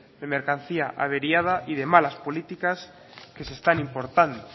de mercancía averiada y de malas políticas que se están importando